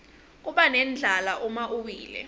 kubanendlala uma uwile